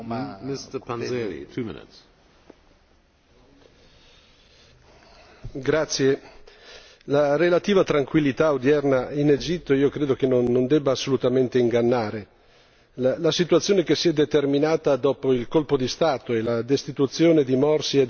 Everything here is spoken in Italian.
Signor Presidente, la relativa tranquillità odierna in Egitto credo che non debba assolutamente ingannare la situazione determinatasi dopo il colpo di Stato e la destituzione di Morsi è davvero molto complicata e comprendo bene le difficoltà